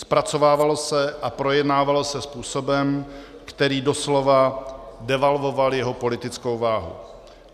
Zpracovávalo se a projednávalo se způsobem, který doslova devalvoval jeho politickou váhu.